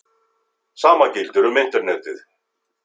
Sama gildir um Internetið.